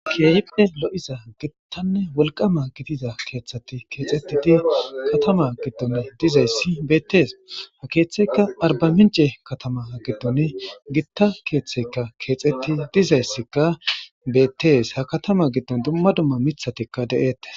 Keehippe lo'iza gittanne wolqama gidida keeththati keexetidi katama giddon dizayssi beettees ha keeththeykka arba mince katama giddon gitta keeththeyka keexetti dizayssikka bettees ha katama giddon dumma dumma mithatikka de'eettes.